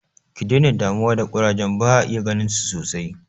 Ki dena damuwa da ƙurajen, ba'a iya ganinsu sosai.